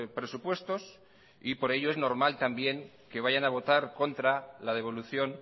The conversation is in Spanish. presupuestos y por ello es normal también que vayan a votar contra la devolución